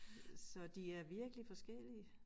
Så de er virkelig forskellige